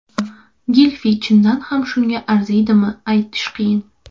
Gilfi chindan ham shunga arziydimi aytish qiyin.